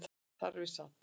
Þar við sat